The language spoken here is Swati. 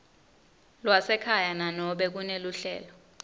lwasekhaya nanobe kuneluhlelo